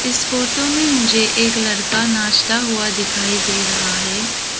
इस फोटो में मुझे एक लड़का नाचता हुआ दिखाई दे रहा है।